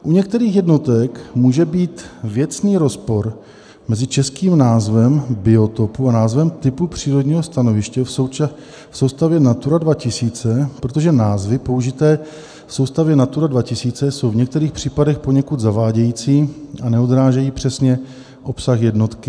U některých jednotek může být věcný rozpor mezi českým názvem biotopu a názvem typu přírodního stanoviště v soustavě Natura 2000, protože názvy použité v soustavě Natura 2000 jsou v některých případech poněkud zavádějící a neodrážejí přesně obsah jednotky.